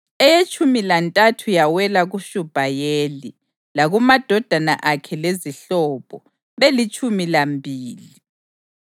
eyetshumi lantathu yawela kuShubhayeli, lakumadodana akhe lezihlobo, belitshumi lambili;